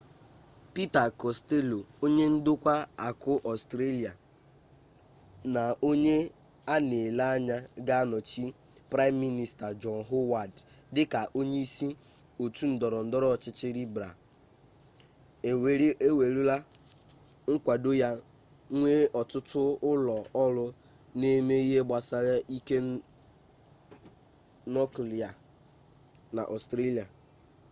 pita kostello onye ndokwa akụ ọstrelia na onye a na-ele anya ga-anọchi praịm minista jọn howard dịka onye isi otu ndọrọ ndọrọ ọchịchị libral ewerela nkwado ya nye otu ụlọ ọrụ na-eme ihe gbasara ike nuklia n'ọstrelia